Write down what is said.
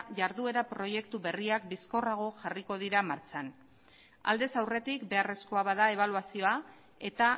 jarduera proiektu berriak bizkorrago jarriko dira martxan aldez aurretik beharrezkoa bada ebaluazioa eta